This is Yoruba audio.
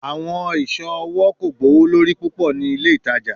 Awọn iṣọ ọwọ ko gbowolori pupọ ni ile itaja